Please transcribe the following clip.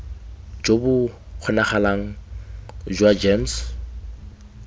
jo bo kgonagalang jwa gems